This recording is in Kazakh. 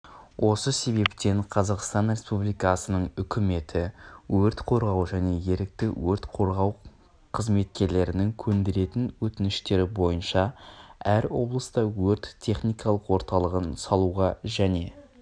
осы себептен қазақстан республикасының үкіметі өрт қорғау және ерікті өрт қорғау қызметкерлерінің көндіретін өтініштері бойынша әр облыста өрт-техникалық орталығын салуға және